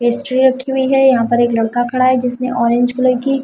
ये रखी हुई है यहाँ पर एक लडका खड़ा है जिसने ओरेंज कलर की--